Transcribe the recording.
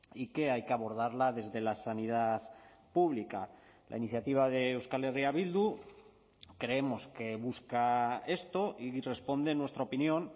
y que hay que abordarla desde la sanidad pública la iniciativa de euskal herria bildu creemos que busca esto y responde en nuestra opinión